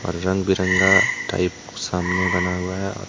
रंग बिरंगा टाइप कुछ सामने बना हुआ है।